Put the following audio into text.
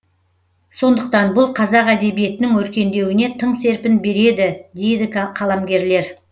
сондықтан бұл қазақ әдебиетінің өркендеуіне тың серпін береді дейді қаламгерелер